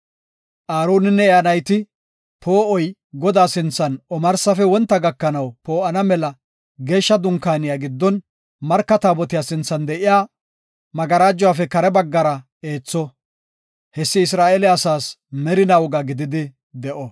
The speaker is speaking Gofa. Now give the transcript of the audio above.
Aaroninne iya nayti, poo7oy, Godaa sinthan omarsafe wonta gakanaw poo7ana mela Geeshsha Dunkaaniya giddon, Marka Taabotiya sinthan de7iya magarajuwafe kare baggara eetho. Hessi Isra7eele asaas merina woga gididi de7o.